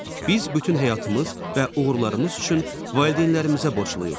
Biz bütün həyatımız və uğurlarımız üçün valideynlərimizə borcluyuq.